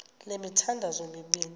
le mithandazo mibini